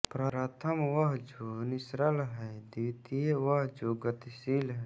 प्रथम वह जो निश्चल है द्वितीय वह जो गतिशील है